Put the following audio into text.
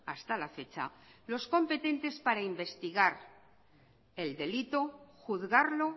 hasta la fecha los competentes para investigar el delito juzgarlo